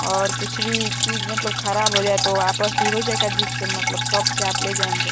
और कुछ भी चीज मतलब खराब हो जाए तो वापस भी हो जाएगा जिस मतलब शॉप से आप ले जाएंगे।